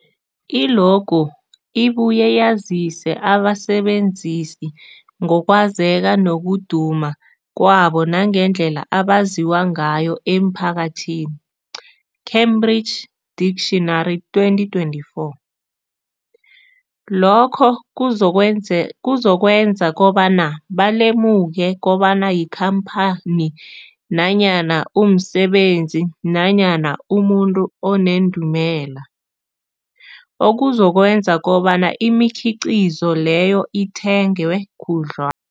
I-logo ibuye yazise abasebenzisi ngokwazeka nokuduma kwabo nangendlela abaziwa ngayo emphakathini, Cambridge Dictionary 2024. Lokho kuzokwenze kuzokwenza kobana balemuke kobana yikhamphani nanyana umsebenzi nanyana umuntu onendumela, okuzokwenza kobana imikhiqhizo leyo ithengwe khudlwa